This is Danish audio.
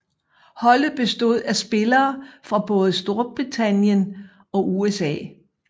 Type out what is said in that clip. Holdet bestod af spillere fra både Storbritannien og USA